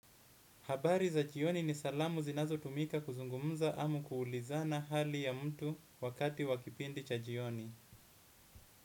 Habari za jioni ni salamu zinazotumika kuzungumuza ama kuulizana hali ya mtu wakati wa kipindi cha jioni.